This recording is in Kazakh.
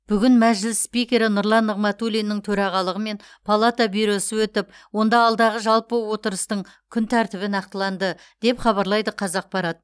бүгін мәжіліс спикері нұрлан нығматулиннің төрағалығымен палата бюросы өтіп онда алдағы жалпы отырыстың күн тәртібі нақтыланды деп хабарлайды қазақпарат